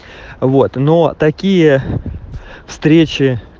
вот но такие встречи